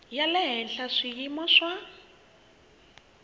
ya le henhla swiyimo swa